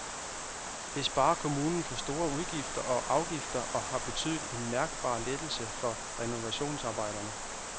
Det sparer kommunen for store udgifter og afgifter og har betydet en mærkbar lettelse for renovationsarbejderne.